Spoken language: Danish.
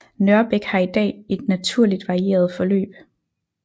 Nørrebæk har i dag et naturligt varieret forløb